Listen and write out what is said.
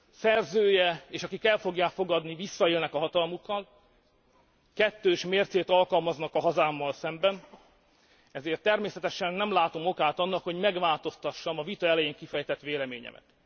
Szerzője és akik el fogják fogadni visszaélnek a hatalmukkal, kettős mércét alkalmaznak a hazámmal szemben, ezért természetesen nem látom okát annak, hogy megváltoztassam a vita elején kifejtett véleményemet.